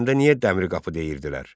Dərbəndə niyə Dəmir qapı deyirlər?